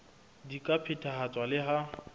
di ka phethahatswa le ha